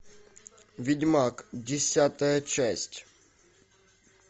ведьмак десятая часть